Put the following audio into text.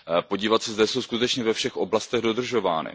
Podívat se, zda jsou skutečně ve všech oblastech dodržovány.